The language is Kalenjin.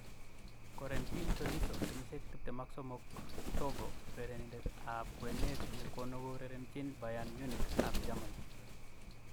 Corentin Tolisso, 23 (Togo) Urerenindet ni ap kwenet konurerenjin Bayern Munich ab Germany.